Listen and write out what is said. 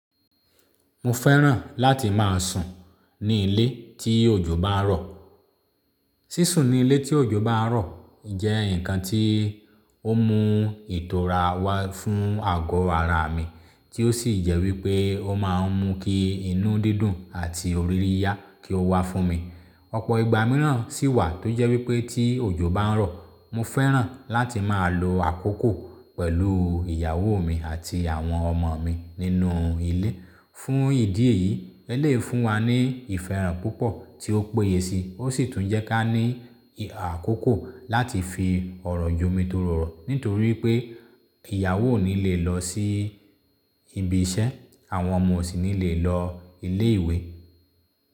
Mo fẹ́ràn láti máa sùn ní ilé tí òjò bá ń rọ̀. Sísùn ní ilé tí òjò bá ń rọ̀ jẹ́ ǹkan tí ó mú ìtọra wá fún àgọ́ ara mi, tí ó sì jẹ́ wípé ó máa ń mú kí inú dídùn àti ọ̀ríyiyá kí ó wá fún mi. Ọ̀pọ̀ ìgbà mìíràn sì wà tó jẹ́ wípé tí òjò bá ń rọ̀, mo fẹ́ràn láti máa lo àkókò pẹ̀lú ìyàwó mi àti àwọn ọmọ mi nínú ilé. Fún ìdí èyí, elèyii fún wa ní ìfẹ́ràn púpọ̀ tí ó péye sí i, ó sì tún jẹ́ kí a ní àkókò láti fi ọ̀rọ̀ yomi tori ọ̀rọ̀, nítorí wípé ìyàwó lè lọ sí ibi iṣẹ́, àwọn ọmọ ò sì ní lè lọ ilé ìwé.